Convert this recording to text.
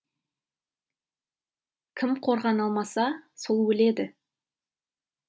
кім қорғана алмаса сол өледі